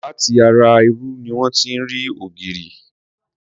Láti ara irú ni wón ti rí ògìrì.